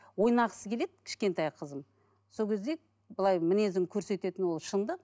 ойнағысы келеді кішкентай қызым сол кезде былай мінезін көрсететіні ол шындық